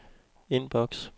indboks